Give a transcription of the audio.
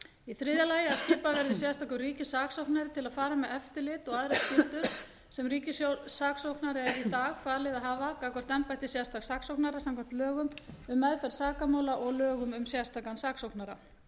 í þriðja lagi að skipaður verði sérstakur ríkissaksóknari til að fara með eftirlit og aðrar skyldur sem ríkissaksóknara er í dag falið að hafa gagnvart embætti sérstaks saksóknara samkvæmt lögum um meðferð sakamála og lögum um sérstakan saksóknara